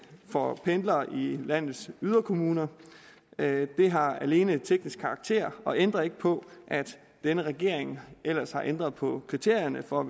for pendlere i landets yderkommuner det har alene teknisk karakter og ændrer ikke på at denne regering ellers har ændret på kriterierne for